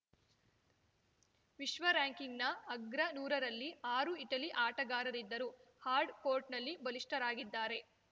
ವಿಶ್ವ ರಾರ‍ಯಂಕಿಂಗ್‌ನ ಅಗ್ರ ನೂರರಲ್ಲಿ ಆರು ಇಟಲಿ ಆಟಗಾರರಿದ್ದರು ಹಾರ್ಡ್‌ ಕೋರ್ಟ್‌ನಲ್ಲಿ ಬಲಿಷ್ಠರಾಗಿದ್ದಾರೆ